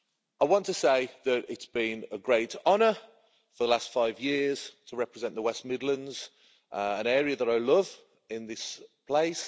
I want to say that it's been a great honour for the last five years to represent the West Midlands, an area that I love, in this place.